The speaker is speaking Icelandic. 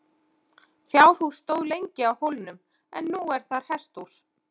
Fjárhús stóð lengi á hólnum en nú er þar hesthús.